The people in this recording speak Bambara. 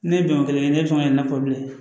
Ne ye bɛnko kelen kɛ ne tɔgɔ ye ne ko bilen